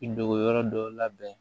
I dogo yɔrɔ dɔw labɛn